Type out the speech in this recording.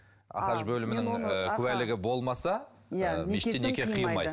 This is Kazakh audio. ахаж бөлімінің ы куәлігі болмаса иә некесін қимайды